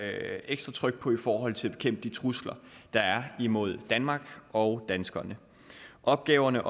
er ekstra tryk på i forhold til at bekæmpe de trusler der er imod danmark og danskerne opgaverne